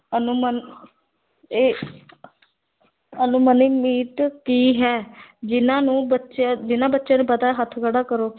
ਅਨੁਮਨ ਇਹ ਕੀ ਹੈ ਜਿੰਨ੍ਹਾ ਨੂੰ ਬੱਚਿਆਂ, ਜਿੰਨ੍ਹਾ ਬੱਚਿਆਂ ਨੂੰ ਪਤਾ ਹੈ ਹੱਥ ਖੜ੍ਹਾ ਕਰੋ।